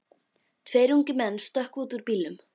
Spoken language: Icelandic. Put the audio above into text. Tveir ungir menn stökkva út úr bílnum.